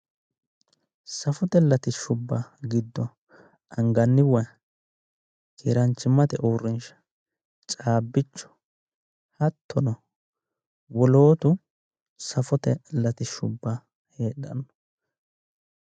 Safote latishshubba giddo anganni waa, keeraanchimmate uurrinsha, cabbichu hattono wolootu safote latishshubba ikkanno